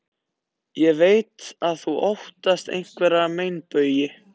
Ég veit að þú óttast einhverja meinbugi.